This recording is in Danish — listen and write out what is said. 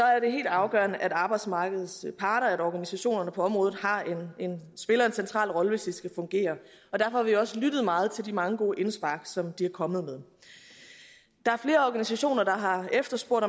er det helt afgørende at arbejdsmarkedets parter og organisationerne på området spiller en central rolle hvis det skal fungere derfor har vi også lyttet meget til de mange gode indspark som de er kommet med der er flere organisationer der har efterspurgt